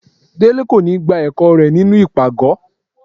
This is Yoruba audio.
Délé kò ní gbá ẹkọ rẹ nínú ipágọ.